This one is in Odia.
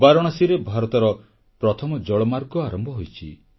ବାରାଣସୀରେ ଭାରତର ପ୍ରଥମ ଜଳମାର୍ଗ ଆରମ୍ଭ ହୋଇଛି